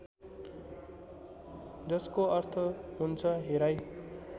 जसको अर्थ हुन्छ हेराइ